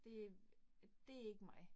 Det. Det ikke mig